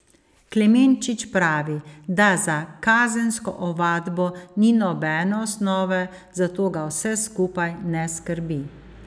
Klemenčič pravi, da za kazensko ovadbo ni nobene osnove, zato ga vse skupaj ne skrbi.